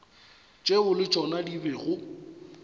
tšeo le tšona di bego